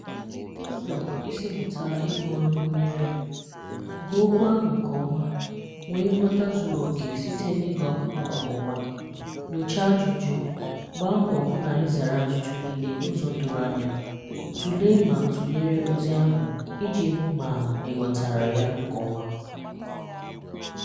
Ụzọ isi mụta ịgụ ọrụ gụnyere: Gụọ okwu ahụ nke ọma, nwee nghọta zuru oke site n'ịgụ akwụkwọ nke ọma, nyochaa ajụjụ, gbaa mbọ hụ na ị zara ajụjụ niile n’ụzọ doro anya, tụlee ma tunyere ozi ahụ iji hụ ma ị ghọtara yz nke ọma.